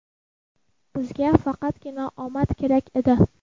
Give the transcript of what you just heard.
Bizga faqatgina omad kerak edi.